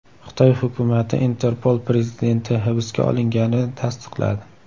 Xitoy hukumati Interpol prezidenti hibsga olinganini tasdiqladi.